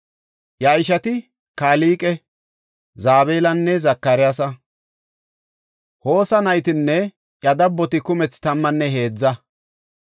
Iya ishati Kalqe, Zabalanne Zakariyasa. Hosa naytinne iya dabboti kumethi tammanne heedza.